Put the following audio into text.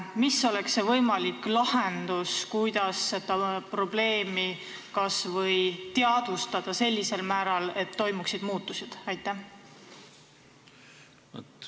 Mis oleks see võimalik lahendus, kuidas seda probleemi kas või teadvustada sellisel määral, et toimuksid muutused?